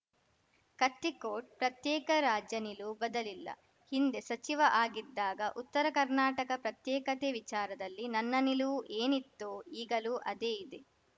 ಕತ್ತಿ ಕೋಟ್‌ ಪ್ರತ್ಯೇಕ ರಾಜ್ಯ ನಿಲುವು ಬದಲಿಲ್ಲ ಹಿಂದೆ ಸಚಿವ ಆಗಿದ್ದಾಗ ಉತ್ತರ ಕರ್ನಾಟಕ ಪ್ರತ್ಯೇಕತೆ ವಿಚಾರದಲ್ಲಿ ನನ್ನ ನಿಲುವು ಏನಿತ್ತೋ ಈಗಲೂ ಅದೇ ಇದೆ